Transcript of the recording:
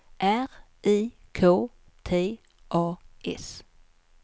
R I K T A S